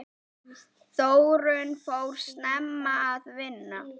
Þórunn fór snemma að vinna.